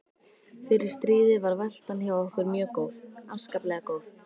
Fyrir stríðið var veltan hjá okkur mjög góð, afskaplega góð.